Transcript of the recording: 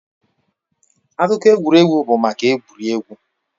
Akụkọ egwuregwu bụ maka egwuregwu.